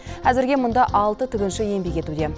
әзірге мұнда алты тігінші еңбек етуде